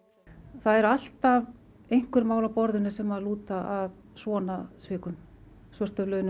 það er alltaf einhver mál á borðinu sem að lúta að svona svikum svörtum launum